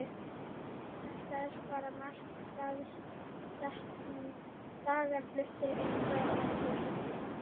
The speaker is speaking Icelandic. Þetta er bara markaðssetning, dagar fluttir inn frá ameríku.